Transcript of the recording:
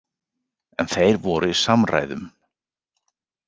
En þeir voru í samræðum?